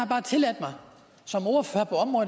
bare tilladt mig